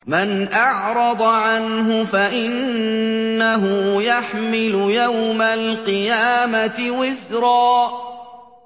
مَّنْ أَعْرَضَ عَنْهُ فَإِنَّهُ يَحْمِلُ يَوْمَ الْقِيَامَةِ وِزْرًا